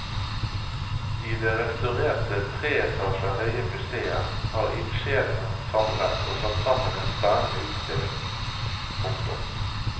I det restaurerte tre etasjer høye museet har ildsjelene samlet og satt sammen en spennende utstilling. punktum